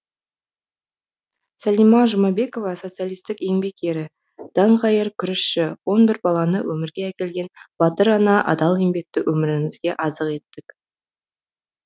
сәлима жұмабекова социалистік еңбек ері даңғайыр күрішші он бір баланы өмірге әкелген батыр ана адал еңбекті өмірімізге азық еттік